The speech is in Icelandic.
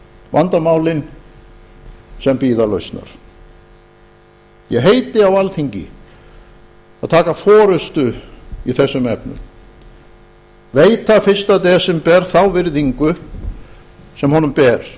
vandamálin sem bíða lausnar ég heiti á alþingi að taka nú forystu í þessum efnum veita fyrsta desember þá virðingu sem honum ber